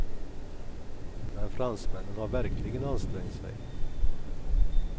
Men fransmännen har verkligen ansträngt sig.